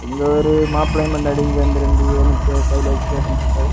இங்க ஒரு மாப்பிள்ளையும் பொண்டாட்டியும் சேர்ந்து இரண்டு என்னதையோ கையில வச்சுட்டு பேசிட்டுயிருக்கை.